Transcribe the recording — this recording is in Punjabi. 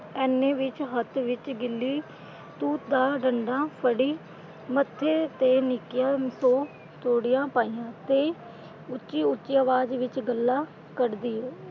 ਐਨੀ ਵਿੱਚ ਹੱਥ ਵਿਚ ਗਿੱਲੀ ਤੂਤ ਦਾ ਡੰਡਾ ਫੜੀ ਮੱਥੇ ਤੇ ਨਿੱਕੀਆਂ ਤਿਉੜੀਆਂ ਪਾਈਆਂ ਤੇ ਉੱਚੀ ਉੱਚੀ ਆਵਾਜ਼ ਵਿਚ ਗਾਲ੍ਹਾਂ ਕੱਢ ਦੀ ਐ।